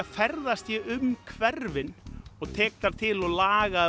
ferðast ég um hverfin og tek þar til og laga